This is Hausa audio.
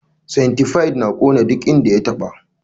Centipide na kona duk inda ya taɓa.